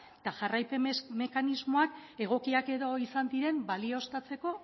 eta jarraipen mekanismoak egokiak edo izan diren balioztatzeko